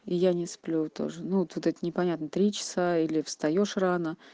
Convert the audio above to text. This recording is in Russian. я не сплю тоже ну тут непонятно три или встаёшь рано